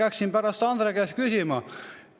Peaksin pärast Andre käest küsima.